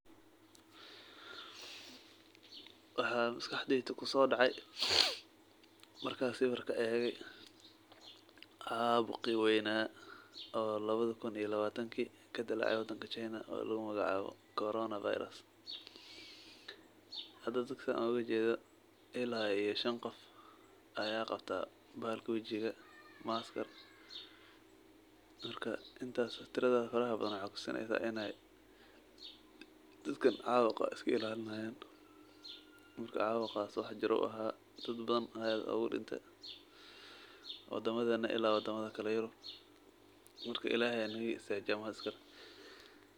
Waxa masqaxdeeyda kusodacaya, mara sawirka egaya qabki weeyna oo 2020 kadelacay wadanga china oo lagu magacawaya coronavirus hada dada UGA jeedoh ila iyo Shan Qoof Aya Qabtah balhalka wajika maskaaa mara intaasi tirada farabathan waxay kutusineysah enaya dadaka cudurka iskal ilalinihayin mara cawuqas wax jiroh ayu ahaa dad bathan Aya aad ugu dintay wadametha ila wadamathakil iya yurub marka islahay Aya naga istajiye ee maskar.